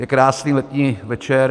Je krásný letní večer.